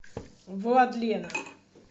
владлена